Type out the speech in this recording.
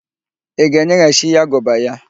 Ị ga-enyeghachi ya agụba ya?